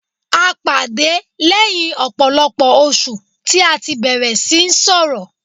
A pàdé lẹ́yìn ọ̀pọ̀lọpọ̀ oṣù tí a tí bẹ̀rẹ̀ síí sọrọ̀.